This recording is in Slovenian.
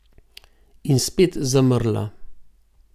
In spet zamrla.